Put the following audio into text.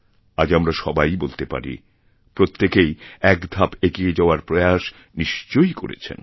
আজ আমরা সবাই বলতে পারি প্রত্যেকেইএক ধাপ এগিয়ে যাওয়ার প্রয়াস নিশ্চয়ই করেছেন